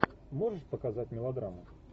можешь показать мелодраму